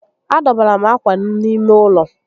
A dọbara m ákwà m n'ime ụlọ